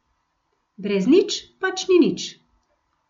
Brez nič, pač ni nič.